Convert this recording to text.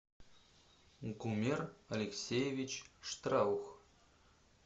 гумер алексеевич штраух